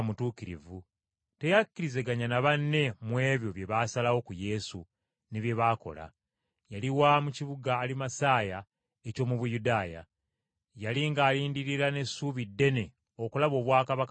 teyakkirizaganya na banne mu ebyo bye baasalawo ku Yesu ne bye baakola. Yali wa mu kibuga Alimasaya eky’omu Buyudaaya. Yali ng’alindirira n’essuubi ddene okulaba obwakabaka bwa Katonda.